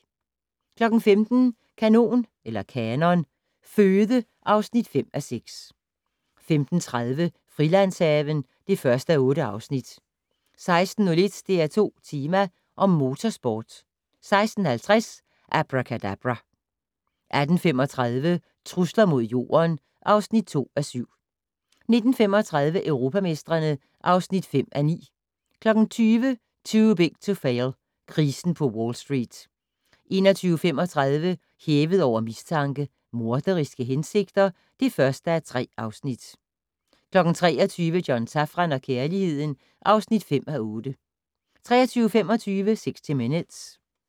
15:00: Kanon Føde (5:6) 15:30: Frilandshaven (1:8) 16:01: DR2 Tema: Om Motorsport 16:50: Abracadabra! 18:35: Trusler mod Jorden (2:7) 19:35: Europamestrene (5:9) 20:00: Too Big to Fail - krisen på Wall Street 21:35: Hævet over mistanke: Morderiske hensigter (1:3) 23:00: John Safran og kærligheden (5:8) 23:25: 60 Minutes